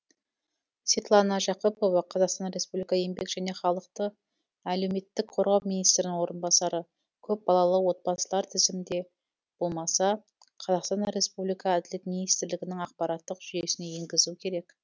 светлана жақыпова қазақстан республикасы еңбек және халықты әлеуметтік қорғау министрінің орынбасары көпбалалы отбасылар тізімде болмаса қазақстан республикасы әділет министрлігінің ақпараттық жүйесіне енгізу керек